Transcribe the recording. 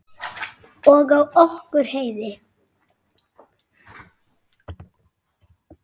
Og á okkur Heiðu.